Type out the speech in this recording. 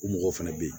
U mɔgɔw fɛnɛ be yen